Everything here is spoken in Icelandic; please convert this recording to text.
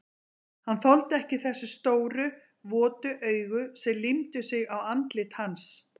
Hann þoldi ekki þessi stóru, votu augu sem límdu sig á andlit hans.